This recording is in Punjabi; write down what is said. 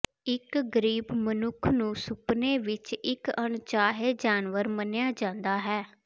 ਇਕ ਗ਼ਰੀਬ ਮਨੁੱਖ ਨੂੰ ਸੁਪਨੇ ਵਿਚ ਇਕ ਅਣਚਾਹੇ ਜਾਨਵਰ ਮੰਨਿਆ ਜਾਂਦਾ ਹੈ